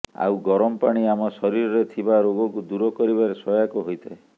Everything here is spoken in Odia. ଆଉ ଗରମ ପାଣି ଆମ ଶରୀରରେ ଥିବା ରୋଗକୁ ଦୂର କରିବାରେ ସହାୟକ ହୋଇଥାଏ